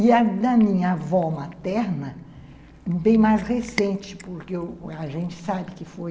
E a da minha avó materna, bem mais recente, porque a gente sabe que foi...